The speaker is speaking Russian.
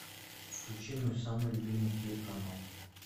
включи мой самый любимый телеканал